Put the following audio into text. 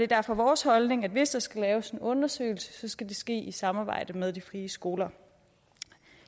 derfor vores holdning at hvis der skal laves en undersøgelse skal det ske i samarbejde med de frie skoler